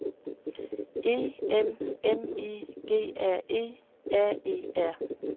E M M I G R E R E R